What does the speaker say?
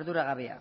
arduragabea